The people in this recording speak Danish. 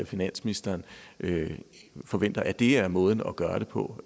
finansministeren forventer at det er måden at gøre det på